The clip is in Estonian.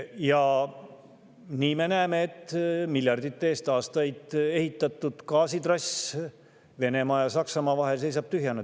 Ja nii me näeme, et miljardeid ja aastaid ehitatud gaasitrass Venemaa ja Saksamaa vahel seisab tühjana.